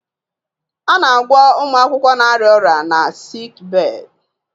A na-agwọ ụmụ akwụkwọ na-arịa ọrịa na sikibee